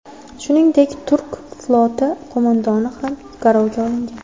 Shuningdek, turk floti qo‘mondoni ham garovga olingan.